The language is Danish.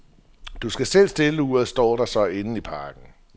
Du skal selv stille uret, står der så inden i pakken.